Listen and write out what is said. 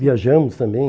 Viajamos também.